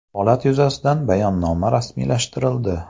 Holat yuzasidan bayonnoma rasmiylashtirildi.